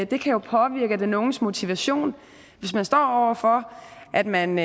det kan jo påvirke den unges motivation hvis man står over for at man